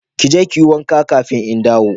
Kije kiyi wanka kafin in dawo.